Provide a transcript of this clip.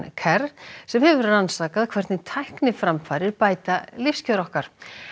kerr sem hefur rannsakað hvernig tækniframfarir bæta lífskjör okkar